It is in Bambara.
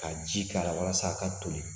Ka ji k'a la walasa a ka toli